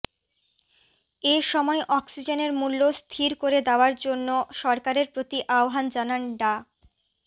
এ সময় অক্সিজেনের মূল্য স্থির করে দেওয়ার জন্য সরকারের প্রতি আহ্বান জানান ডা